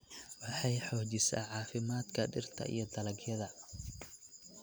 Waxay xoojisaa caafimaadka dhirta iyo dalagyada.